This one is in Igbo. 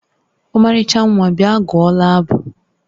Ọmarịcha nwa, bịa gụọla abụ!